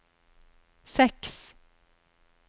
seks